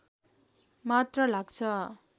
मात्र लाग्छ